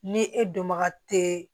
Ni e dɔnbaga tɛ